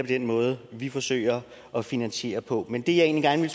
den måde vi forsøger at finansiere på men det jeg egentlig